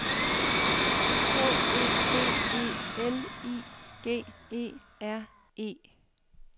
K E D E L I G E R E